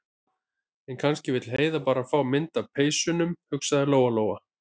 En kannski vill Heiða bara fá mynd af peysunum, hugsaði Lóa- Lóa.